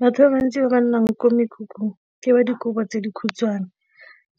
Batho ba bantsi ba ba nnang ko mekhukhung ke ba dikobo tse dikhutshwane,